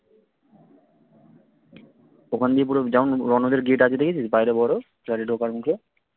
ওখান দিয়ে পুরো যেমন রনদের gate আছে দেখেছিস বাইরে বড় গাড়ি ঢোকার মত